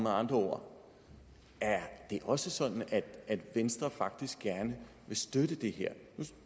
andre ord også sådan at venstre faktisk gerne vil støtte det her nu